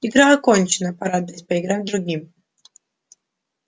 игра окончена пора дать поиграть другим